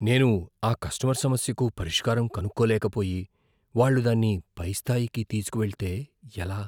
నేను ఆ కస్టమర్ సమస్యకు పరిష్కారం కనుక్కోలేకపోయి, వాళ్ళు దాన్ని పైస్థాయికి తీసుకు వెళ్తే ఎలా?